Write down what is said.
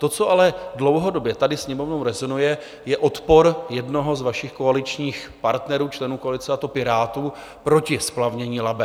To, co ale dlouhodobě tady Sněmovnou rezonuje, je odpor jednoho z vašich koaličních partnerů, členů koalice, a to Pirátů, proti splavnění Labe.